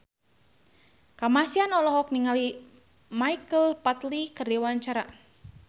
Kamasean olohok ningali Michael Flatley keur diwawancara